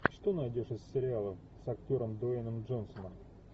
что найдешь из сериалов с актером дуэйном джонсоном